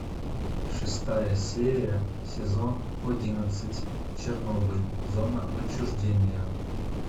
шестая серия сезон одиннадцать чернобыль зона отчуждения